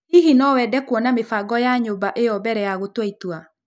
Hihi no wende kuona mĩbango ya nyũmba ĩyo mbere ya gũtua itua?